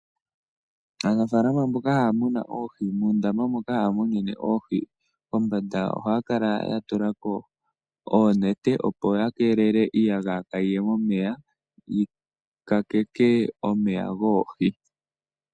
Aanafaalama mboka ha ya munu oohi, muundama moka ha ya munine oohi, kombanda, oha ya kala ya tulako oonete opo ya keeleke, iiyagaya kaayi ye momeya, yi kakeke omeya goohi.